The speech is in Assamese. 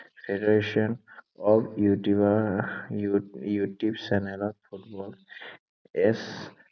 federation of ইউটিউবাৰ, ইউটিউব চেনেলত ফুটবল s